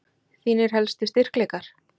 Þínir helstu styrkleikar?